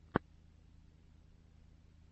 зи шоу зи в ютьюбе